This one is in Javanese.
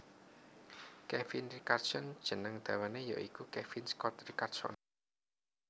Kevin Richardson jeneng dawané ya iku Kevin Scott Richardson